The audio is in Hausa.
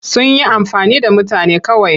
Sun yi amfani da mutane kawai.